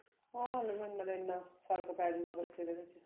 ਹਾਂ ਫਰਕ ਪੈ ਜੁਗਾ ਬੱਚੇ ਦੇ ਵਿੱਚ